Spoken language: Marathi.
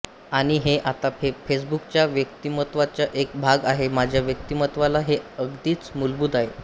आणि हे आता फेसबुकच्या व्यक्तिमत्वाचा एक भाग आहे माझ्या व्यक्तिमत्त्वाला हे अगदीच मूलभूत आहे